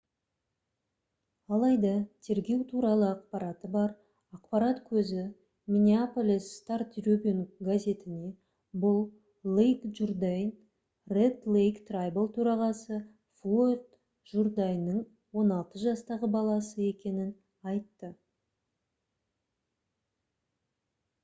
алайда тергеу туралы ақпараты бар ақпарат көзі minneapolis star-tribune газетіне бұл лейк джурдайн red lake tribal төрағасы флойд журдайнның 16 жастағы баласы екенін айтты